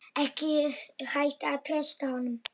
Ekki hægt að treysta honum.